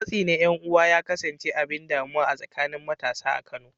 Matsi na ’yan uwa ya kasance abin damuwa a tsakanin matasa a Kano.